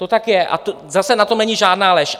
To tak je, a zase na tom není žádná lež.